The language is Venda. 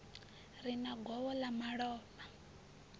re na govho ḽa malofha